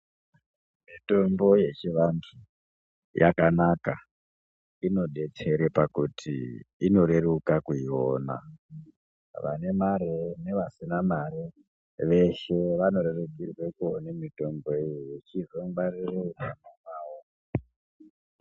Mitombo yechivantu yakanaka inodetsere pakuti inoreruka kuiona vane mare nevasina mare veshe Vanorerukirwe kuone mitombo iyi yechizongwaririrwa pakanakawo.